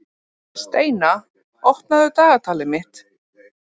Steina, opnaðu dagatalið mitt.